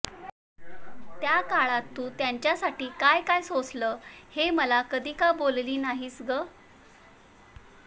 त्या काळात तू त्याच्यासाठी काय काय सोसलं हे मला कधी का बोलली नाही ग